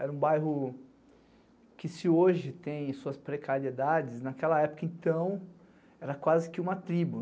Era um bairro que, se hoje tem suas precariedades, naquela época, então, era quase que uma tribo.